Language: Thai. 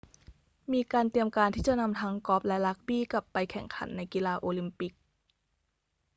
มีการเตรียมการที่จะนำทั้งกอล์ฟและรักบี้กลับไปแข่งขันในกีฬาโอลิมปิก